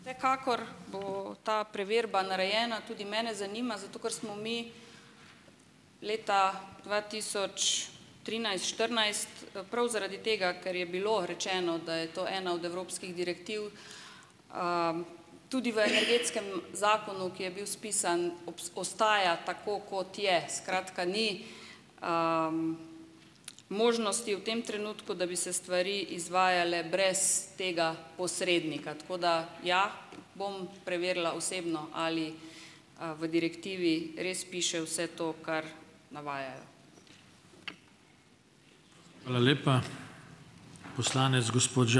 Vsekakor bo ta preverba narejena. Tudi mene zanima, zato ker smo mi leta dva tisoč trinajst, štirinajst, prav zaradi tega, ker je bilo rečeno, da je to ena od evropskih direktiv, tudi v energetskem zakonu, ki je bil spisan, ostaja tako, kot je. Skratka, ni možnosti v tem trenutku, da bi se stvari izvajale brez tega posrednika, tako da, ja, bom preverila osebno, ali v direktivi res piše vse to, kar navajajo.